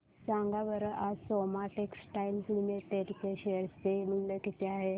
सांगा बरं आज सोमा टेक्सटाइल लिमिटेड चे शेअर चे मूल्य किती आहे